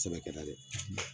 Sɛbɛ kɛra dɛ